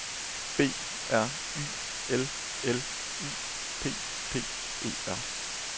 B R Y L L U P P E R